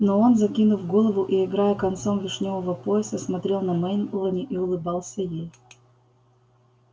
но он закинув голову и играя концом вишнёвого пояса смотрел на мелани и улыбался ей